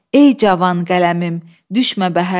Ey cavan qələmim, düşmə bəhərdən.